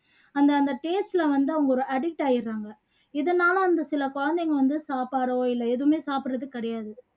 அந்த அந்த taste ல வந்து அவங்க addict ஆகிடுறாங்க இதனால வந்து சில குழந்தைங்க வந்து சாப்பாடோ இல்ல எதுவுமே சாப்பிடுறது கிடையாது